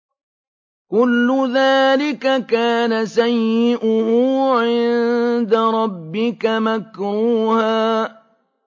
كُلُّ ذَٰلِكَ كَانَ سَيِّئُهُ عِندَ رَبِّكَ مَكْرُوهًا